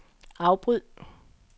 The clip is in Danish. afbryd